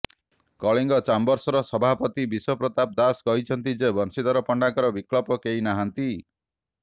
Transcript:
କଳିଙ୍ଗ ଚାମ୍ବର୍ସର ସଭାପତି ବିଶ୍ୱପ୍ରତାପ ଦାସ କହିଛନ୍ତି ଯେ ବଂଶୀଧର ପଣ୍ଡାଙ୍କ ବିକଳ୍ପ କେହି ନାହାଁନ୍ତି